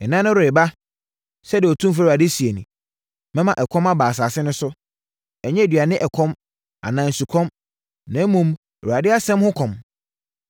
“Nna no reba” sɛdeɛ Otumfoɔ Awurade seɛ nie, “Mɛma ɛkɔm aba asase no so, ɛnnyɛ aduane ɛkɔm anaa nsukɔm, na mmom, Awurade asɛm ho ɛkɔm.